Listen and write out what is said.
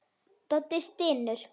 Doddi stynur.